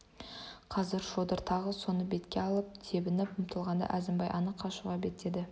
қазір шодыр тағы соны бетке алып тебініп ұмтылғанда әзімбай анық қашуға беттеді